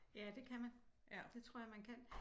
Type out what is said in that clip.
Ja det kan man det tror jeg man kan